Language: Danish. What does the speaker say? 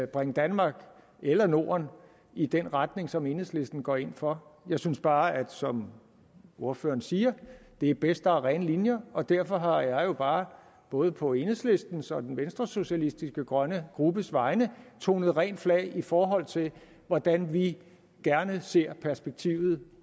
bringe danmark eller norden i den retning som enhedslisten går ind for jeg synes bare som ordføreren siger at det er bedst at der er rene linjer og derfor har jeg jo bare både på enhedslistens og den venstresocialistiske grønne gruppes vegne tonet rent flag i forhold til hvordan vi gerne ser perspektivet